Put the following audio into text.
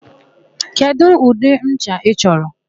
Kedụ ụdị ncha ị chọrọ?